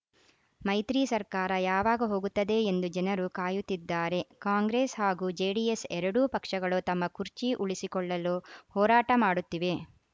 ಮೈತ್ರಿ ಸರ್ಕಾರ ಯಾವಾಗ ಹೋಗುತ್ತದೆ ಎಂದು ಜನರು ಕಾಯುತ್ತಿದ್ದಾರೆ ಕಾಂಗ್ರೆಸ್‌ ಹಾಗೂ ಜೆಡಿಎಸ್‌ ಎರಡು ಪಕ್ಷಗಳು ತಮ್ಮ ಕುರ್ಚಿ ಉಳಿಸಿಕೊಳ್ಳಲು ಹೋರಾಟ ಮಾಡುತ್ತಿವೆ